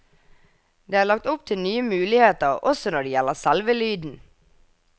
Det er lagt opp til nye muligheter også når det gjelder selve lyden.